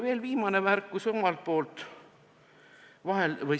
Veel viimane märkus minu poolt.